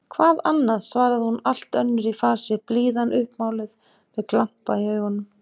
Hvað annað? svaraði hún allt önnur í fasi, blíðan uppmáluð, með glampa í augum.